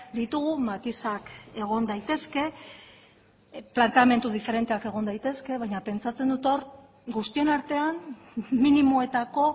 ditugu matizak egon daitezke planteamendu diferenteak egon daitezke baina pentsatzen dut hor guztion artean minimoetako